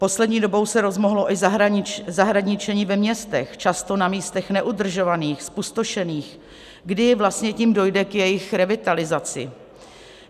Poslední dobou se rozmohlo i zahradničení ve městech, často na místech neudržovaných, zpustošených, kdy vlastně tím dojde k jejich revitalizaci.